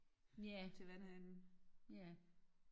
Nja ja